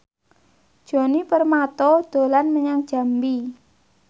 Djoni Permato dolan menyang Jambi